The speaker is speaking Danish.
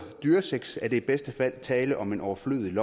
dyresex er der i bedste fald tale om et overflødigt